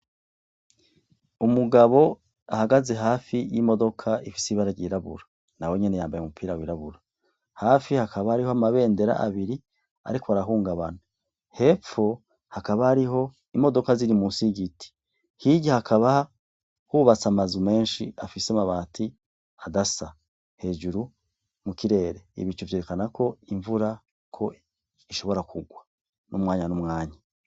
Umugabo ahagaze hafi y'imodoko ifise ibara ryirabura nawe nyene yambaye umupira wirabura, hafi hakaba hariho amabedera abiri ariko arahugabana, hepfo hakaba hariho imodoka ziri musi yy'igiti, hirya hakaba hubatse ama nzu nenshi afise amabati adasa, hejuru mukirere ibicu vyerekana ko imvura ko ishobora kurwa umwanya numwanya.